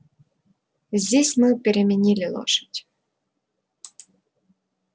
здесь мы переменили лошадь